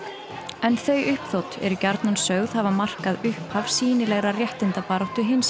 en þau uppþot eru gjarnan sögð hafa markað upphaf sýnilegrar réttindabaráttu hinsegin